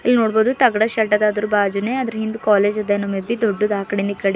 ಇಲ್ಲಿ ನೋಡ್ಬದು ತಗಡ್ ಶೇಡ್ ಅದ ಅದರ ಬಾಜುನೇ ಅದರ ಹಿಂದ್ ಕಾಲೇಜ್ ಅದ ಏನೋ ಮೆ ಬಿ ದೊಡ್ಡದ ಆ ಕಡಿ ಇಂದ ಈ ಕಡಿ. --